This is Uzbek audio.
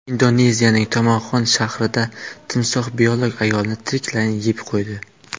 Indoneziyaning Tomoxon shahrida timsoh biolog ayolni tiriklayin yeb qo‘ydi.